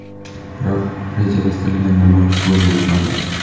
Biroq rejalashtirilgan namoyish bo‘lib o‘tmadi.